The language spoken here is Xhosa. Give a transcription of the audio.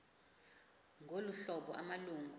ngolu hlobo amalungu